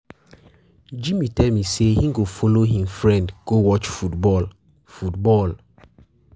Jimmy tell me say he go follow him friend go watch football football